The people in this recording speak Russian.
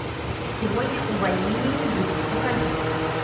сегодня увольнения не будет покажи